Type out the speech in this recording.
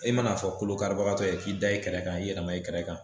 E manaa fɔ kolokaribagatɔ ye k'i da i kɛlɛ kan i yɛrɛma i kɛrɛ kan